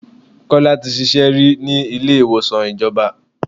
2. Kọ́lá tí ṣíṣe rí ní ilé ìwòsàn ìjọba.